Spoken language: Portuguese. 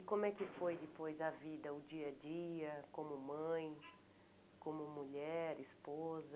E como é que foi depois a vida, o dia a dia, como mãe, como mulher, esposa?